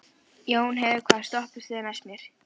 Jónheiður, hvaða stoppistöð er næst mér?